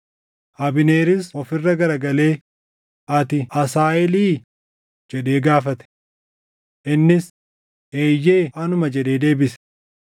Abneeris of irra garagalee, “Ati Asaaheelii?” jedhee gaafate. Innis, “Eeyyee anuma” jedhee deebise.